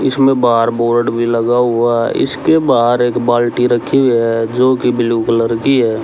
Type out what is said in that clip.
इसमें बाहर बोर्ड भी लगा हुआ हैं इसके बाहर एक बाल्टी रखी हैं जो कि ब्ल्यू कलर की हैं।